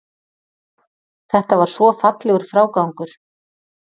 Þetta var svo fallegur frágangur.